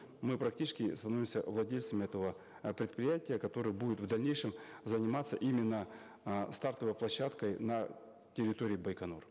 мы практически становимся владельцами этого э предприятия которое будет в дальнейшем заниматься именно э стартовой площадкой на территории байконур